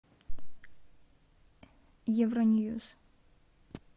евро ньюс